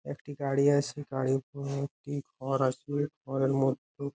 একটি গাড়ি আছে গাড়ির মধ্যে একটি ঘর আছে ঘরের মধ্যে --